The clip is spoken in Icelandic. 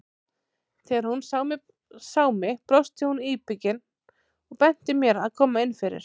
Þegar hún sá mig brosti hún íbyggin og benti mér að koma inn fyrir.